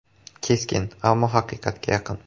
Keskin, ammo haqiqatga yaqin.